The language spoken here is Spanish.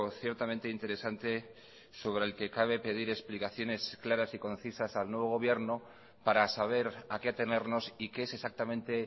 ciertamente interesante sobre el que cabe pedir explicaciones claras y concisas al nuevo gobierno para saber a qué atenernos y qué es exactamente